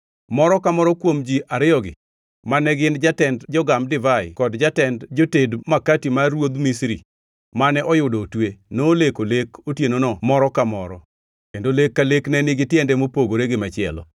moro ka moro kuom ji ariyogi mane gin jatend jogam divai kod jatend joted makati mar ruodh Misri mane oyudo otwe, noleko lek otienono moro ka moro, kendo lek ka lek ne nigi tiende mopogore gi machielo.